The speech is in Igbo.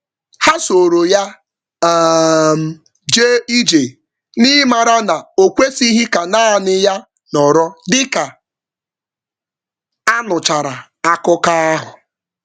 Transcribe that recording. Ha soro ya um jee ije, n’ịmara na okwesịghị ka nanị ya nọrọ dịka anụchara akụkọ ahụ